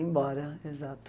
Embora, exato.